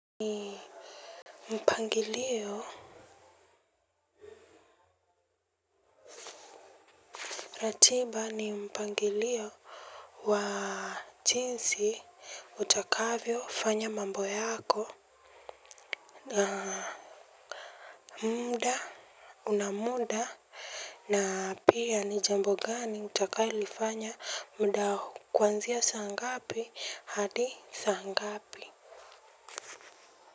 Ni mpangilio. Ratiba ni mpangilio wa chinsi utakavyo fanya mambo yako. Mda unamuda na pia ni jambo gani utakailifanya mda kwanzia saa ngapi hadi saa ngapi.